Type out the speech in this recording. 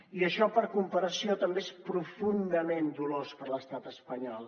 i això per comparació també és profundament dolós per a l’estat espanyol